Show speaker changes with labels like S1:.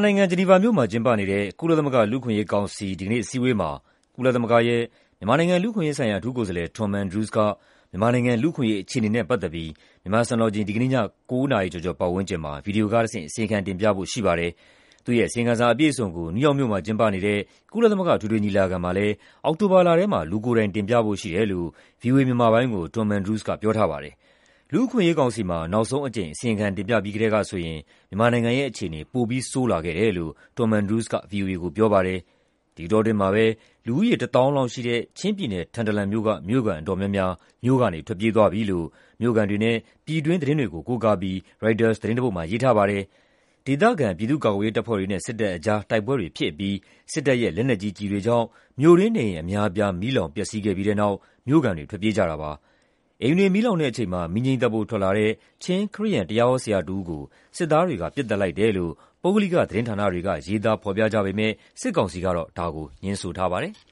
S1: နိုင်ငံ၊ ဂျနီဗာမြို့မှာ ကျင်းပနေတဲ့ ကုလသမဂ္ဂ လူ့အခွင့်အရေးကောင်စီ ဒီကနေ့ အစည်းအဝေးမှာကုလသမဂ္ဂရဲ့ မြန်မာနိုင်ငံ လူ့အခွင့်အရေးဆိုင်ရာ အထူးကိုယ်စားလှယ် Tom Andrews က မြန်မာနိုင်ငံရဲ့ လူ့အခွင့်အရေး အခြေအနေနဲ့ပတ်သက်ပြီး မြန်မာစံတော်ချိန် ဒီကနေ့ည ၉ နာရီပတ်ဝန်းကျင်မှာ ဗွီဒီယိုကတဆင့် အစီရင်ခံ တင်ပြဖို့ ရှိပါတယ်။ သူ့ရဲ့ အစီရင်ခံစာအပြည့်အစုံကို နယူးယောက်မြို့မှာကျင်းပနေတဲ့ ကုလသမဂ္ဂအထွေထွေညီလာခံမှာလည်း အောက်တိုဘာလထဲမှာ လူကိုယ်တိုင်တင်ပြဖို့ရှိတယ်လို့ ဗွီအိုအေ မြန်မာပိုင်းကို Tom Andrews က ပြောထားပါတယ်။ လူ့အခွင့်အရေးကောင်စီမှာ နောက်ဆုံးအကြိမ် အစီရင်ခံတင်ပြပြီးကတည်းက မြန်မာနိုင်ငံရဲ့ အခြေအနေ ပိုပြီး ဆိုးရွားလာခဲ့တယ်လို့ Tom Andrews က ဗွီအိုအေကို ပြောပါတယ်။ ဒီအတောအတွင်းမှာပဲ လူဦးရေ ၁၀,၀၀၀ လောက်ရှိတဲ့ ချင်းပြည်နယ်၊ ထန်တလန်မြို့က မြို့ခံအတော်များများ မြို့ကနေထွက်ပြေးသွားပြီလို့ မြို့ခံတွေနဲ့ ပြည်တွင်းသတင်းတွေကို ကိုးကားပြီး ရိုက်တာသတင်းတပုဒ်မှာ ရေးထားပါတယ်။ ဒေသခံ ပြည်သူ့ကာကွယ်ရေးတပ်ဖွဲ့တွေနဲ့ စစ်တပ်အကြား တိုက်ပွဲတွေဖြစ်အပြီး စစ်တပ်ရဲ့ လက်နက်ကြီးကျည်တွေကြောင့် မြို့တွင်း နေအိမ်အများအပြား မီးလောင်ပျက်စီးခဲ့ပြီးတဲ့နောက် မြို့ခံတွေ ထွက်ပြေးကြတာပါ။ အိမ်တွေမီးလောင်တဲ့အချိန်မှာ မီးငြိမ်းသတ်ဖို့ ထွက်လာတဲ့ ချင်း ခရစ်ယာန်တရားဟောဆရာတဦးကို စစ်သားတွေက ပစ်သတ်လိုက်တယ်လို့ ပုဂ္ဂလိကသတင်းဌာနတွေက ရေးသားဖော်ပြကြပေမယ့် စစ်ကောင်စီကတတော့ ဒါကိုငြင်းထားပါတယ်။